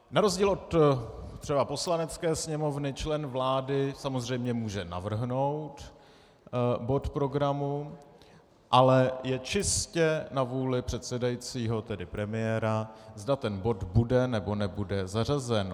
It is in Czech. Na rozdíl třeba od Poslanecké sněmovny, člen vlády samozřejmě může navrhnout bod programu, ale je čistě na vůli předsedajícího, tedy premiéra, zda ten bod bude, nebo nebude zařazen.